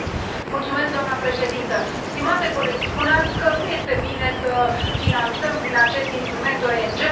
Doamnă președintă, stimate coleg, spuneați că nu este bine să finanțăm, prin acest instrument, ONG urile.